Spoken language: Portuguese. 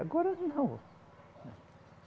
Agora não.